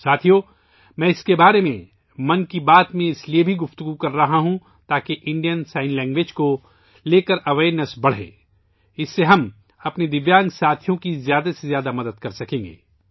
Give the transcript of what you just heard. ساتھیو ، میں اس بارے میں ' من کی بات ' میں ، اس لئے بھی بات کر رہا ہوں تاکہ بھارتی اشاروں کی زبان کے بارے میں آگاہی بڑھے، اس سے ہم اپنے معذور ساتھیوں کی زیادہ سے زیادہ مدد کر سکیں گے